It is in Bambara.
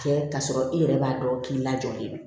Kɛ k'a sɔrɔ i yɛrɛ b'a dɔn k'i lajɔlen don